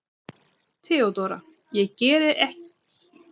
THEODÓRA: Það geri ég ekki strax.